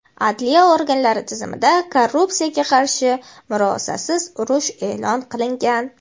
Adliya organlari tizimida korrupsiyaga qarshi murosasiz urush eʼlon qilingan.